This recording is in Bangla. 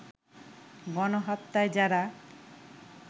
গণহত্যায় যারা